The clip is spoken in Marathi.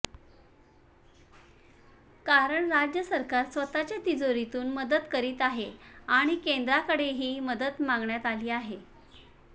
कारण राज्य सरकार स्वतःच्या तिजोरीतून मदत करीत आहे आणि केंद्राकडेही मदत मागण्यात आली आहे